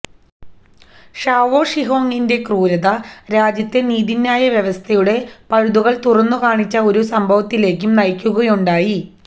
Shao ഷിഹോങിന്റെ ക്രൂരത രാജ്യത്തെ നീതിന്യായ വ്യവസ്ഥയുടെ പഴുതുകൾ തുറന്നു കാണിച്ച ഒരു സംഭവത്തിലേക്കും നയിക്കുകയുണ്ടായി